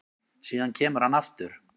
Síðan kemur hann aftur